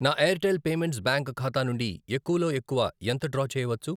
నా Airtel payments bank ఖాతా నుండి ఎక్కువలో ఎక్కువ ఎంత డ్రా చేయవచ్చు?